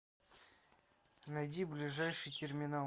найди ближайший терминал